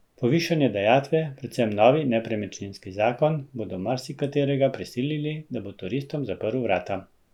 Povišane dajatve, predvsem novi nepremičninski zakon, bodo marsikaterega prisilili, da bo turistom zaprl vrata.